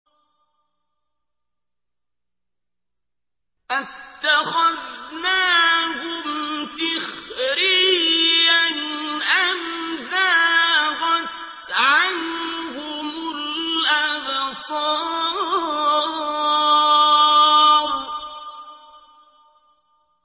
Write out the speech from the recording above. أَتَّخَذْنَاهُمْ سِخْرِيًّا أَمْ زَاغَتْ عَنْهُمُ الْأَبْصَارُ